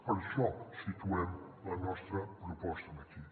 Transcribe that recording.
per això situem la nostra proposta aquí